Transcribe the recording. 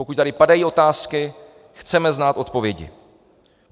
Pokud tady padají otázky, chceme znát odpovědi.